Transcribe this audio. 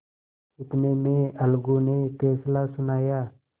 इतने में अलगू ने फैसला सुनाया